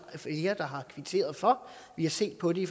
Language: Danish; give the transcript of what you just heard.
flere der har kvitteret for vi har set på det i